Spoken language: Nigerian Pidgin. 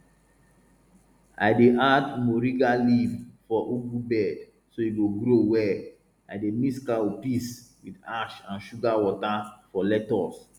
i dey add moringa leaf for ugu bed so e go grow well i dey mix cow piss with ash and sugar water for lettuce